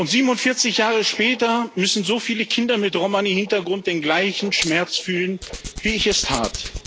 47 Jahre später müssen so viele Kinder mit Romani Hintergrund den gleichen Schmerz fühlen, wie ich es tat.